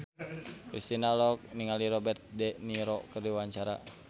Kristina olohok ningali Robert de Niro keur diwawancara